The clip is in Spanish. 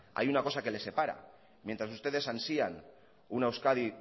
hay una cosa que les separa mientras ustedes ansían una euskadi